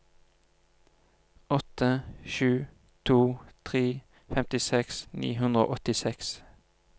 åtte sju to tre femtiseks ni hundre og åttiseks